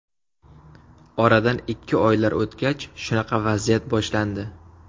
Oradan ikki oylar o‘tgach, shunaqa vaziyat boshlandi.